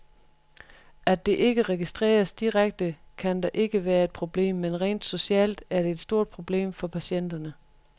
At det ikke registreres direkte, kan da ikke være et problem, men rent socialt er det et stort problem for patienterne.